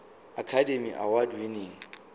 academy award winning